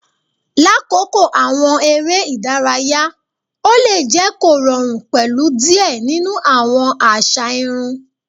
Lakoko awọn ere idaraya, o le jẹ korọrun pẹlu diẹ ninu awọn aza irun